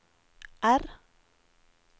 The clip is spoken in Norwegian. R